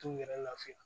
T'u yɛrɛ lafiya